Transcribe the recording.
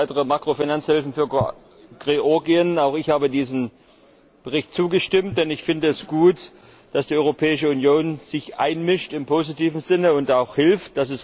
Weitere Makrofinanzhilfen für Georgien auch ich habe diesem Bericht zugestimmt, denn ich finde es gut, dass die Europäische Union sich im positiven Sinne einmischt und auch hilft.